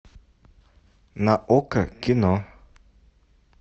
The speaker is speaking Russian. на окко кино